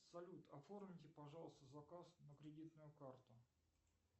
салют оформите пожалуйста заказ на кредитную карту